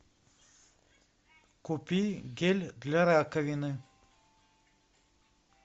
купи гель для раковины